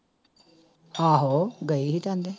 ਆਹੋ ਗਈ ਸੀ